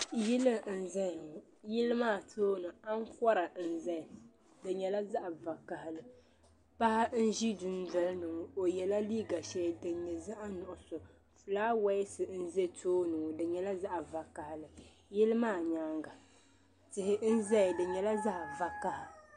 Yili n zaya ŋɔ yili maa tooni ankɔra n zaya di nyɛla zaɣi vokahali paɣa n ʒe dundɔlini ŋɔ o yɛla liiga shɛli din nyɛ zaɣi nuɣuso flawasɛ n za tooni ŋɔ di nyɛla zaɣi vokahali yili maa nyaaŋa tihi n zaya di nyɛla zaɣi vokaha.